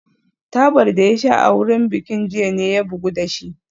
Tabar da ya sha a wurin bikin jiya ne ya bugu da shi